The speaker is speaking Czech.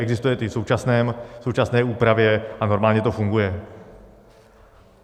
Existuje to v současné úpravě a normálně to funguje.